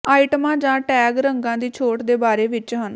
ਆਈਟਮਾਂ ਜਾਂ ਟੈਗ ਰੰਗਾਂ ਦੀ ਛੋਟ ਦੇ ਬਾਰੇ ਵਿੱਚ ਹਨ